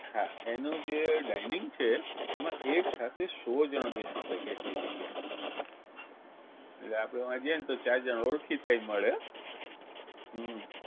હા એનું જે dining છે એમાં એકસાથે સો જણ બેસી શકે એટલી જગ્યા છે આપણે વા ગયાને તો ચાર જણ ઓળખીતાય મળે હો હમ